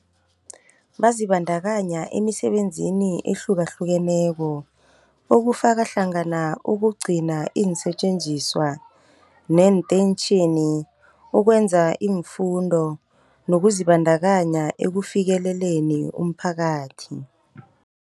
Bazibandakanya emisebenzini ehlukahlukeneko. Okufaka hlangana ukugcina iinsetjenziswa, neentetjhini ukwenza iimfundo, nokuzibandakanya ekufikeleleni umphakathi.